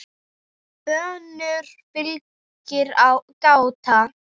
önnur fylgir gáta